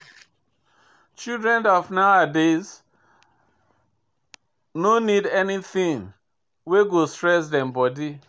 Children of nawadays no need anything wey go stress them body.